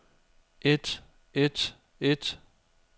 et et et